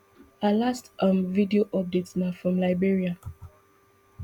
her last um video update na from liberia